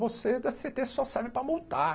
Vocês da cê ê tê só servem para multar.